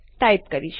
type કરીશ